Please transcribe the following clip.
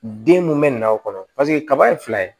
Den mun bɛ na o kɔnɔ paseke kaba ye fila ye